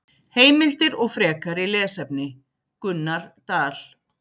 Heimildir og frekari lesefni: Gunnar Dal.